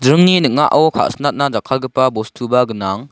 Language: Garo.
dringni ning·ao ka·sinatna jakkalgipa bostuba gnang.